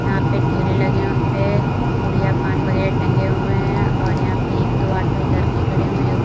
यहां पे ठेले लगे हुए है उनपे पुड़िया पान वगैरह टंगे हुए है और यहां पे एक दो ऑटो इधर के खड़े हुए है।